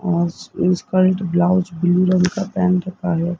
अ skirt blouse blue रंग का पहेन रखा है।